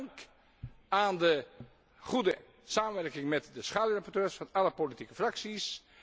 Dank aan de goede samenwerking met de schaduwrapporteurs van alle politieke fracties.